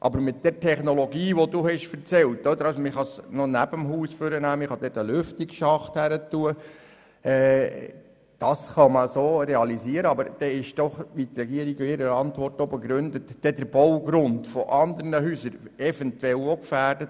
Die von Ihnen genannte Technologie, wonach Erdwärmesonden von neben dem Haus aus gelegt und ein Lüftungsschacht erstellt wird, kann zwar so realisiert werden, aber dann ist eventuell auch der Baugrund anderer Häuser – wie es die Regierung in ihrer Antwort begründet – gefährdet.